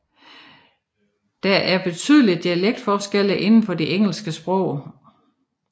Der er betydelige dialektforskelle inden for det engelske sprog